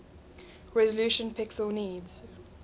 resolution pixels needs